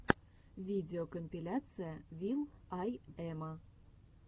видеокомпиляция вил ай эма